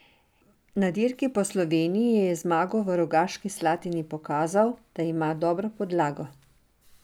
Na dirki Po Sloveniji je z zmago v Rogaški Slatini pokazal, da ima dobro podlago.